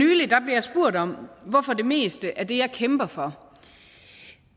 for om hvorfor det meste af det jeg kæmper for